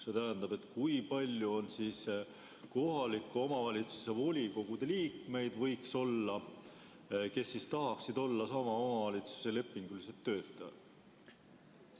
See tähendab, et kui palju on kohalike omavalitsuste volikogude liikmeid või võiks olla, kes tahaksid olla sama omavalitsuse lepingulised töötajad?